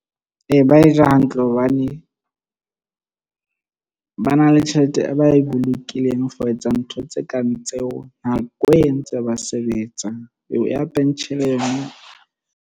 Ee, ba e ja hantle hobane ba na le tjhelete, e ba e bolokileng for ho etsa ntho tse kang tseo. Nako entse ba sebetsa eo ya pension eno.